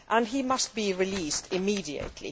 He must be released immediately.